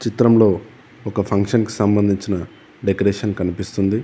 చిత్రంలో ఒక ఫంక్షన్ కి సంబంధించిన డెకరేషన్ కనిపిస్తుంది.